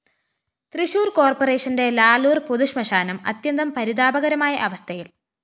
തൃശൂര്‍ കോര്‍പ്പറേഷന്റെ ലാലൂര്‍ പൊതുശ്മശാനം അത്യന്തം പരിതാപകരമായ അവസ്ഥയില്‍